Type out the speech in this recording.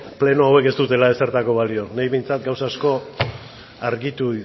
pleno hauek ez dutela ezertarako balio niri behintzat gauza asko argitu